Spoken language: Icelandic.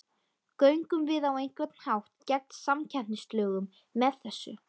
Göngum við á einhvern hátt gegn samkeppnislögum með þessu?